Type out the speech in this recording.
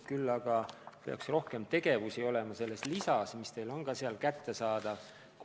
Küll aga peaks rohkem tegevusi olema kirjas selles lisas, mis on teile ka kättesaadav.